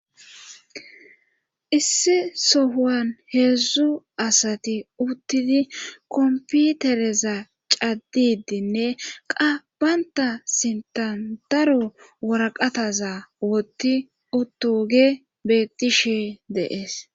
Issi sohan heedzdzu asati uttidi komputereza caddidinne qabbanta sintan daro woraqataza woti utoge bettishe deees.